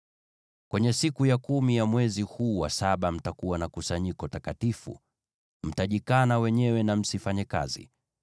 “ ‘Kwenye siku ya kumi ya mwezi huu wa saba mtakuwa na kusanyiko takatifu. Mtajikana wenyewe na msifanye kazi.